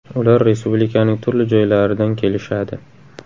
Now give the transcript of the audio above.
Ular respublikaning turli joylaridan kelishadi.